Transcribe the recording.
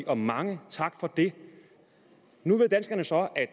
og mange tak for det nu ved danskerne så at